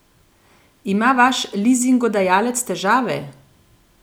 Ima vaš lizingodajalec težave?